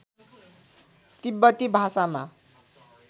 तिब्बती भाषामा